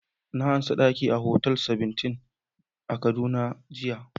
Na amsa daki a Hotel Seventeen a kaduna jiya.